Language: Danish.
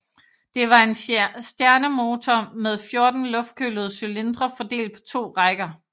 Det var en stjernemotor med 14 luftkølede cylindre fordelt på to rækker